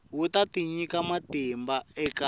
wu ta nyika matimba eka